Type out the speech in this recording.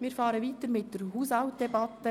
Wir fahren weiter mit der Haushaltsdebatte.